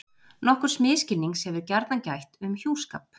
nokkurs misskilnings hefur gjarnan gætt um hjúskap